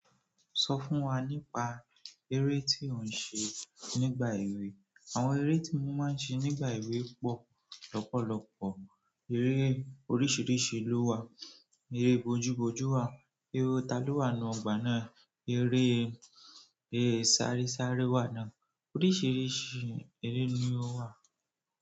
Sọ fún wa nípa eré tí ò ń se nígbà èwe. Àwọn eré tí mo máa ń se nígbà èwe pọ̀ lọ́pọ̀lọpọ̀. Eré oríṣìíríṣìí ló wà. Eré bójú bójú wà, eré taló wà nu ọgbà náà, eré, eré sáresare wà náà. Oríṣìíríṣìí eré ni ó wà.